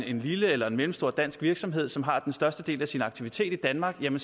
en lille eller mellemstor dansk virksomhed som har den største del af sin aktivitet i danmark vil